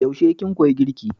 Yaushe kin koya girki?